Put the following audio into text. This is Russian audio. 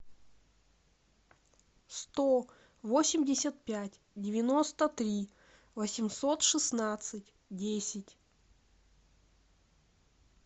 сто восемьдесят пять девяносто три восемьсот шестнадцать десять